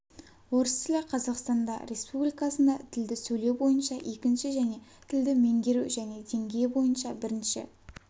орыс тілі қазақстанда республикасында тілді сөйлеу бойынша екінші және тілді меңгеру және деңгейі бойынша бірінші